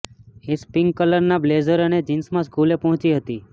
ash pink કલરના blazer અને જીન્સમાં સ્કૂલે પહોંચી હતી